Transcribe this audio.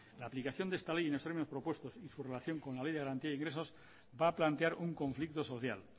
la aplicación de esta ley en los términos propuestos y su relación con la ley de garantía e ingresos va a plantear un conflicto social